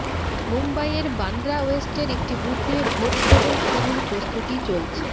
মুম্বইয়ের বান্দ্রা ওয়েস্টের একটি বুথে ভোটগ্রহণ শুরুর প্রস্তুতি চলছে